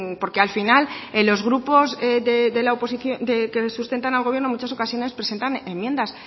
porque al final los grupos que sustentan al gobierno en muchas ocasiones presentan enmiendas